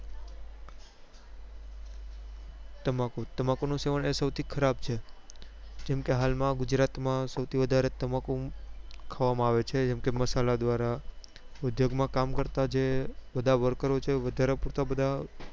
તમાકુ તમાકુ નું સેવન એ સૌથી ખરાબ છે જેમ કે હાલ માં ગુજરાત માં સૌથી વધારે તમાકુ ખાવા માં આવે છે જેમ કે મસાલા દ્વારા ઉદ્યોગ માં કામ કરતા જે બધા worker છે વધારે પૂરતા બધા